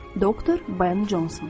Doktor Ben Conson.